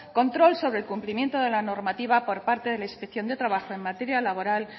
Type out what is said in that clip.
control sobre el cumplimiento de la normativa por parte de la inspección de trabajo en materia laboral